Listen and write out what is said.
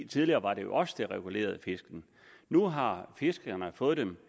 tidligere var det jo os der regulerede fisken nu har fiskerne fået dem